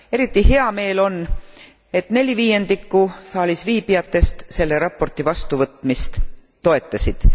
Eriti hea meel on, et neli viiendikku saalisviibijatest selle raporti vastuvõtmist toetasid.